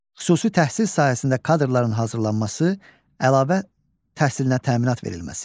Xüsusi təhsil sahəsində kadrların hazırlanması, əlavə təhsilinə təminat verilməsi.